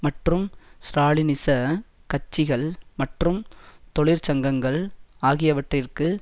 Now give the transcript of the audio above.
மற்றும் ஸ்ராலினிச கட்சிகள் மற்றும் தொழிற்சங்கங்கள் ஆகியவற்றிற்கு